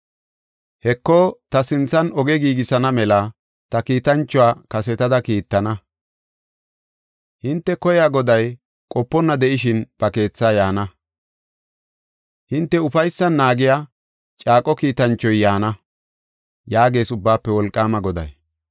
“Heko, ta sinthan oge giigisana mela ta kiitanchuwa kasetada kiittana. Hinte koya Goday qoponna de7ishin ba keetha yaana. Hinte ufaysan naagiya, caaqo kiitanchoy yaana” yaagees Ubbaafe Wolqaama Goday.